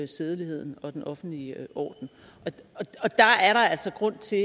sædeligheden og den offentlige orden der er der altså grund til